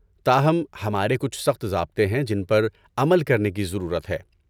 تاہم، ہمارے کچھ سخت ضابطے ہیں جن پر عمل کرنے کی ضرورت ہے۔